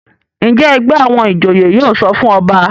Njé ègbé àwọn ìjòyè yóò sọfún ọba?